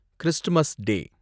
Christmas டே